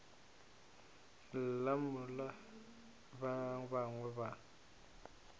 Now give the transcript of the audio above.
lla mola ba bangwe ba